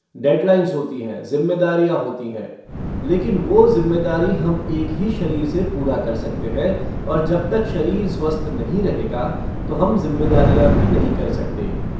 Dead lines होती है, ज़िम्मेदारियां होती हैं, लेकिन वो ज़िम्मेदारी हम एक ही शरीर से पूरा कर सकते हैं और जब तक शरीर स्वस्थ नहीं रहेगा तो हम ज़िम्मेदारियां भी पूरी नहीं कर सकते।